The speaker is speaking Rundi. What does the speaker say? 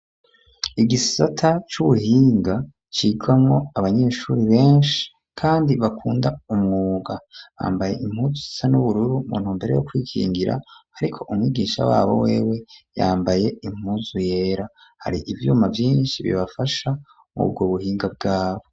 Igisata c'ubuhinga, cigamwo abanyeshuri benshi kandi bakunda umwuga, bambaye impuzu zisa n'ubururu, mu ntumbero yo kwikingira, ariko umwigisha wabo wewe yambaye impuzu yera; hari ivyuma vyinshi bibafasha mw'ubwo buhinga bwabo.